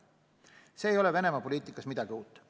See ei ole Venemaa poliitikas midagi uut.